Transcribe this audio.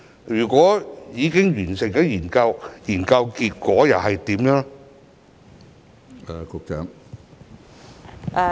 如果已經完成研究，結果又是怎樣呢？